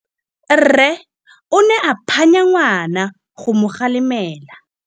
Rre o ne a phanya ngwana go mo galemela.